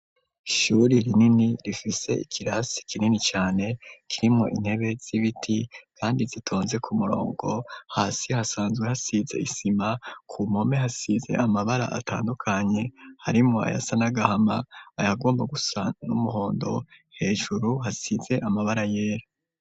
Ishuri rinini rifise ikirasi kinini cane kirimwo intebe z'ibiti, kandi zitonze ku murongo hasi hasanzwe hasize isima ku mome hasize amabara atandukanye harimo aya sa nagahama ayagomba gusa n'umuhondo hejuru hasize amabara yera.